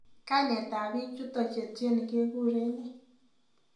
Kainetab biik chuto cheityeni kegure ne